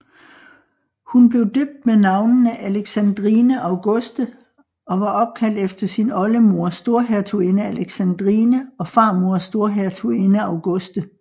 Hun blev døbt med navnene Alexandrine Auguste og var opkaldt efter sin oldemor Storhertuginde Alexandrine og farmor Storhertuginde Auguste